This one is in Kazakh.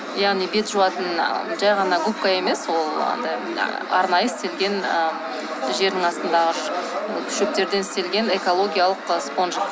яғни бет жуатын жай ғана губка емес ол андай ы арнайы істелген ы жердің астындағы шөптерден істелген экологиялық спонжик